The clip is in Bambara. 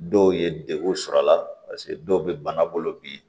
Dɔw ye degun sɔrɔ a la dɔw bɛ bana bolo bi